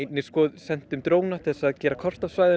sendum dróna til að gera kort af svæðinu